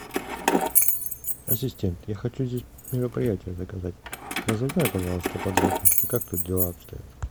ассистент я хочу здесь мероприятие заказать разузнай пожалуйста подробности как тут дела обстоят